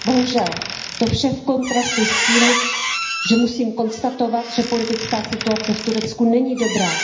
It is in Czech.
Bohužel to vše v kontrastu s tím, že musím konstatovat, že politická situace v Turecku není dobrá.